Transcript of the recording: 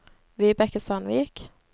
Vibeke Sandvik